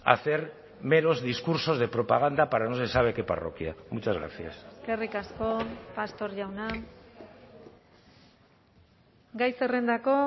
hacer meros discursos de propaganda para no se sabe qué parroquia muchas gracias eskerrik asko pastor jauna gai zerrendako